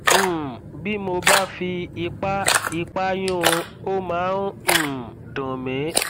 um bí mo bá fi ipá ipá yún un ó máa ń um dùn mí